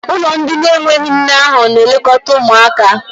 ụlọ ndị na-enweghị nne ahu na-elekọta ụmụaka.